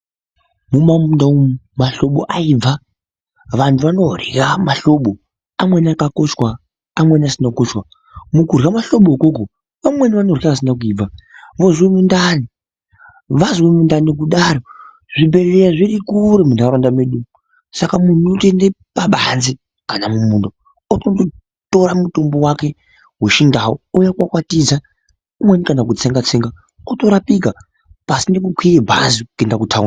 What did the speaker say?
Mumamunda umu mahlobo aibva vandhu vanorya mahlobo ,amweni akakochwa, amweni asina kukochwa mukurya mahlobo ikoko ,vamweni vanorya asina kuibva vozwa mundani, vazwa mundani kudaro zvibhehleya zviri kure mundaraunda medu, saka mundhu unotoenda pabanze kana mumunda ototora mutombo wake wechindau ouya okwakwatidza umweni kana kutsenga-tsenga otorapika pasina kukwira bhazi kuenda kuthaundi.